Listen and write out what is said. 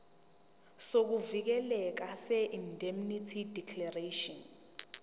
sokuvikeleka seindemnity declaration